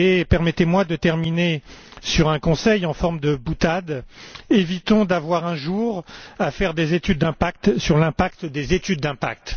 Permettez moi de terminer sur un conseil en forme de boutade évitons d'avoir un jour à faire des études d'impact sur l'impact des études d'impact.